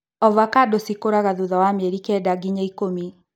Ovacando cikũraga thutha wa mĩeri kenda nginya ikũmi.